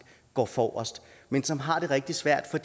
går forrest men som har det rigtig svært for